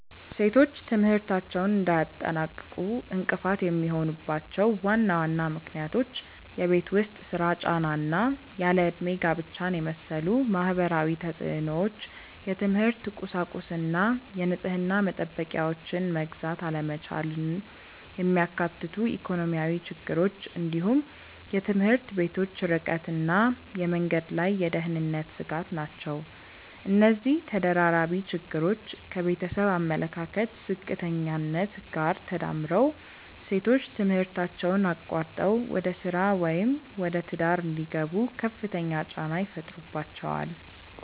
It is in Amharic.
ሴቶች ትምህርታቸውን እንዳያጠናቅቁ እንቅፋት የሚሆኑባቸው ዋና ዋና ምክንያቶች የቤት ውስጥ ሥራ ጫና እና ያለ ዕድሜ ጋብቻን የመሰሉ ማህበራዊ ተፅዕኖዎች፣ የትምህርት ቁሳቁስና የንጽህና መጠበቂያዎችን መግዛት አለመቻልን የሚያካትቱ ኢኮኖሚያዊ ችግሮች፣ እንዲሁም የትምህርት ቤቶች ርቀትና የመንገድ ላይ የደህንነት ስጋት ናቸው። እነዚህ ተደራራቢ ችግሮች ከቤተሰብ አመለካከት ዝቅተኛነት ጋር ተዳምረው ሴቶች ትምህርታቸውን አቋርጠው ወደ ሥራ ወይም ወደ ትዳር እንዲገቡ ከፍተኛ ጫና ይፈጥሩባቸዋል።